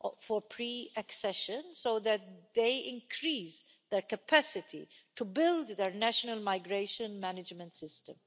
for Pre Accession so that they increase their capacity to build their national migration management system.